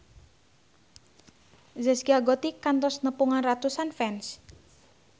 Zaskia Gotik kantos nepungan ratusan fans